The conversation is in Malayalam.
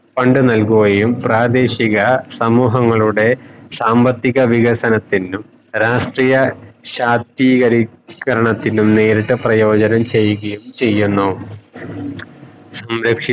fund നൽകുകയും പ്രാദേശിക സമൂഹങ്ങളുടെ സാമ്പത്തിക വികസനത്തിനും രാഷ്ട്രീയ ശാക്തീ കരത്തിനും നേരിട്ട് പ്രയോജനം ചെയുകയും ചെയ്യുന്നു